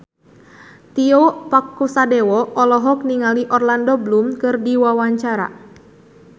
Tio Pakusadewo olohok ningali Orlando Bloom keur diwawancara